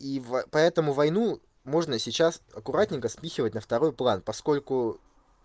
и в поэтому войну можно сейчас аккуратненько спихивать на второй план поскольку